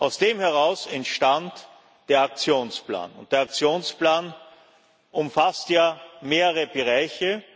Aus dem heraus entstand der Aktionsplan, und der Aktionsplan umfasst ja mehrere Bereiche.